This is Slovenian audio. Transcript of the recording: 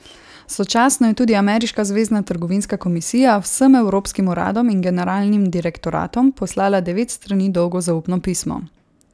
Sočasno je tudi ameriška zvezna trgovinska komisija vsem evropskim uradom in generalnim direktoratom poslala devet strani dolgo zaupno pismo.